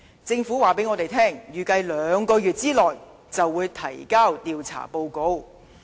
政府告訴我們，預計兩個月內便會提交調查報告。